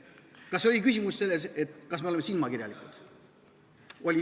Kas küsimus oli selles, kas me oleme silmakirjalikud?